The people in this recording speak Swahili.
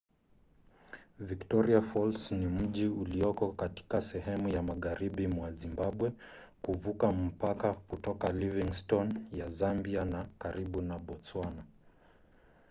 victoria falls ni mji ulioko katika sehemu ya magharibi mwa zimbabwe kuvuka mpaka kutoka livingstone ya zambia na karibu na botswana